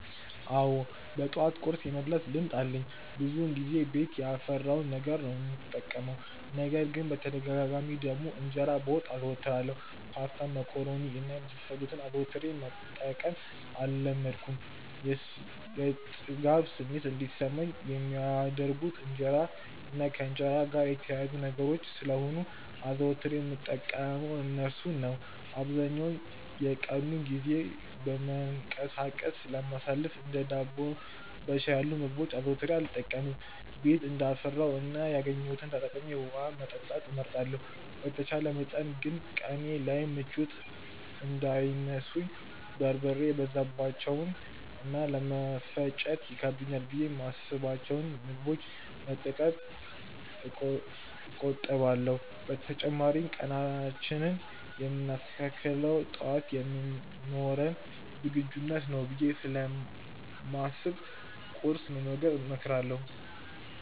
አዎ በጠዋት ቁርስ የመብላት ልማድ አለኝ። ብዙውን ጊዜ ቤት ያፈራውን ነገር ነው የምጠቀመው። ነገር ግን በተደጋጋሚ ደግሞ እንጀራ በወጥ አዘወትራለሁ። ፓስታ፣ መኮሮኒ እና የመሳሰሉትን አዘውትሬ መጠቀም አልለመድኩም። የጥጋብ ስሜት እንዲሰማኝ የሚያደርጉት እንጀራ እና ከእንጀራ ጋር የተያያዙ ነገሮች ስለሆኑ አዘውትሬ የምጠቀመው እርሱን ነው። አብዛኛውን የቀኑን ጊዜ በመንቀሳቀስ ስለማሳልፍ እንደ ዳቦ በሻይ ያሉ ምግቦችን አዘውትሬ አልጠቀምም። ቤት እንዳፈራው እና ያገኘሁትን ተጠቅሜ ውሀ መጠጣት እመርጣለሁ። በተቻለ መጠን ግን ቀኔ ላይ ምቾት እንዳይነሱኝ በርበሬ የበዛባቸውን እና ለመፈጨት ይከብዳሉ ብዬ የማስብቸውን ምግቦች ከመጠቀም እቆጠባለሁ። በተጨማሪም ቀናችንን የምናስተካክለው ጠዋት በሚኖረን ዝግጁነት ነው ብዬ ስለማስብ ቁርስ መመገብን እመክራለሁ።